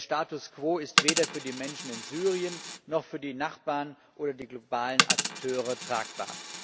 Der Status quo ist weder für die Menschen in Syrien noch für die Nachbarn oder die globalen Akteure tragbar.